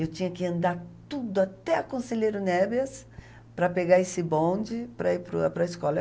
Eu tinha que andar tudo até a Conselheiro Neves para pegar esse bonde para ir para o para a escola.